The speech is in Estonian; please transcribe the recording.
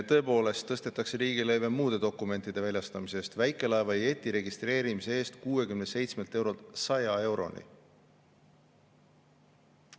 Tõepoolest tõstetakse riigilõive muude dokumentide väljastamise eest, väikelaeva ja jeti registreerimise eest 67 eurolt 100 euroni.